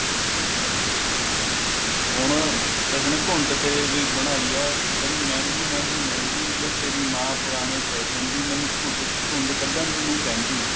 ਹਾਂ ਹੁਣ ਕਿਸੇ ਨੇ ਘੁੰਡ ਤੇ ਵੀ ਬਣਾਈ ਏ ਕਹਿੰਦੀ ਮਹਿੰਦੀ ਮਹਿੰਦੀ ਮਹਿੰਦੀ ਵੇ ਤੇਰੀ ਮਾਂ ਪੁਰਾਣੇ fashion ਦੀ ਮੈਨੂੰ ਘੁੰਡ ਘੁੰਡ ਕੱਢਣ ਨੂੰ ਕਹਿੰਦੀ